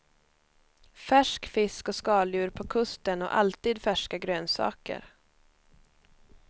Färsk fisk och skaldjur på kusten och alltid färska grönsaker.